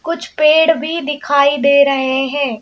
कुछ पेड़ भी दिखाई दे रहे हैं।